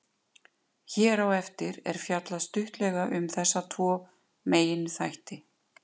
Hér á eftir er fjallað stuttlega um þessa tvo meginþætti.